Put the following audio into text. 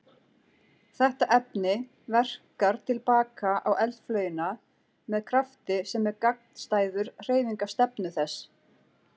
Þetta efni verkar til baka á eldflaugina með krafti sem er gagnstæður hreyfingarstefnu þess.